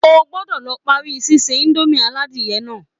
O gbọ́dọ̀ lọ parí síse indomie aládìyẹ náà